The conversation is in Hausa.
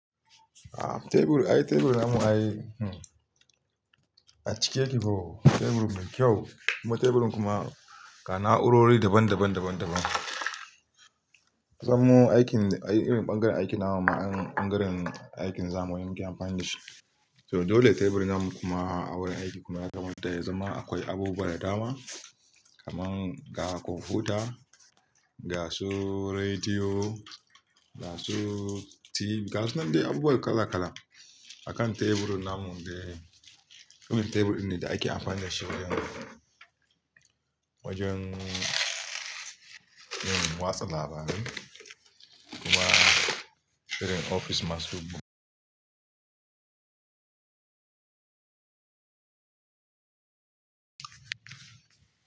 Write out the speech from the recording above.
A tebur, ai teburin an yi, a cike yake ko. Teburin me kyau, kuma teburin kuma kana'u rori daban daban daban daban. San mu aikin, irin bangaren aikin namu ma'an bangaren aikin zamu yanke amfani da shi. To dole teburin nan kuma wurin aiki kuma ya kamata ya zama akwai abubuwa da dama. Kaman ga kwamfuta, ga su rediyo, ga su TV, ga su nan dai abubuwa kala kala. A kan teburin nan mu dai, irin teburin ne da ake amfani da shi wajen, wajen yin wasu labari. Kuma filin ofis masu bugu.